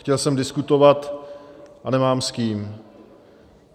Chtěl jsem diskutovat - a nemám s kým.